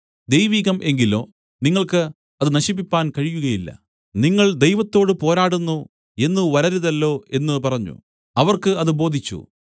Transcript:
ദൈവികം എങ്കിലോ നിങ്ങൾക്ക് അത് നശിപ്പിപ്പാൻ കഴിയുകയില്ല നിങ്ങൾ ദൈവത്തോട് പോരാടുന്നു എന്ന് വരരുതല്ലോ എന്ന് പറഞ്ഞു അവർക്ക് അത് ബോധിച്ചു